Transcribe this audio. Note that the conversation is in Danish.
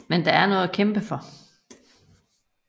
Men der er noget at kæmpe for